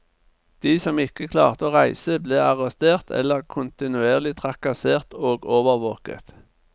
De som ikke klarte å reise ble arrestert eller kontinuerlig trakassert og overvåket.